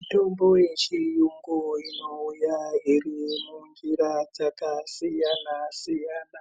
Mitombo yechiyungu inouya iri munjira dzakasiyanasiyana